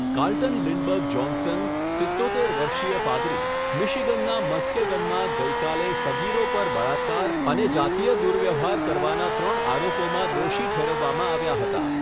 Carlton Lindberg Johnson, સિત્તોતેર વર્ષીય પાદરી, મિશિગનના મસ્કેગનમાં ગઈકાલે સગીરો પર બળાત્કાર અને જાતીય દુર્વ્યવહાર કરવાના ત્રણ આરોપોમાં દોષી ઠેરવવામાં આવ્યા હતા.